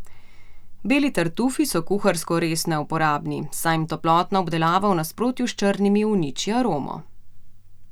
Beli tartufi so kuharsko res neuporabni, saj jim toplotna obdelava v nasprotju s črnimi uniči aromo.